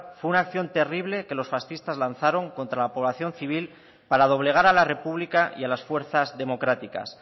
fue una acción terrible que los fascistas lanzaron contra la población civil para doblegar a la república y a las fuerzas democráticas